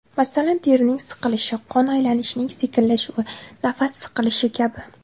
Masalan, terining siqilishi, qon aylanishining sekinlashuvi, nafas siqilishi kabi.